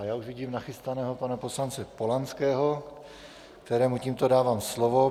A já už vidím nachystaného pana poslance Polanského, kterému tímto dávám slovo.